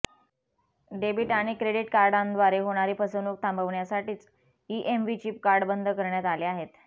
debit आणि credit कार्डांद्वारे होणारी फसवणूक थांबवण्यासाठीच ईएमव्ही चिप कार्ड बंद करण्यात आले आहेत